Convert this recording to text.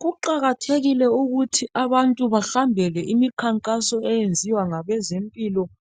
Kuqakathekile ukuthi abantu bahambele imikhankaso eyenziwa ngabezempilakahle